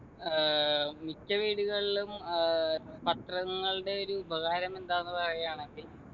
ഏർ മിക്ക വീടുകളിലും ഏർ പത്രങ്ങളുടെ ഒരു ഉപകാരം എന്താണെന്ന് പറയാണെങ്കിൽ